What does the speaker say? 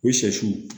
O sɛsiw